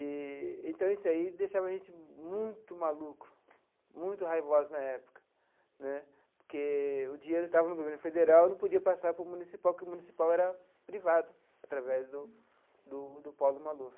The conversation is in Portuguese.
Eee então isso aí deixava a gente muito maluco, muito raivoso na época né, porque o dinheiro estava no governo federal, não podia passar para o municipal, porque o municipal era privado, através do do do Paulo Maluf.